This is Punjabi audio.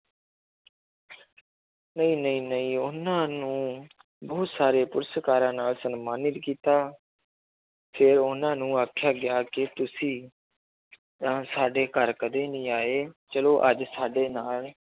ਨਹੀਂ ਨਹੀਂ ਨਹੀਂ ਉਹਨਾਂ ਨੂੰ ਬਹੁਤ ਸਾਰੇ ਪੁਰਸ਼ਕਾਰਾਂ ਨਾਲ ਸਨਮਾਨਿਤ ਕੀਤਾ ਤੇ ਉਹਨਾਂ ਨੂੰ ਆਖਿਆ ਗਿਆ ਕਿ ਤੁਸੀਂ ਤਾਂ ਸਾਡੇ ਘਰ ਕਦੇ ਨੀ ਆਏ ਚਲੋ ਅੱਜ ਸਾਡੇ ਨਾਲ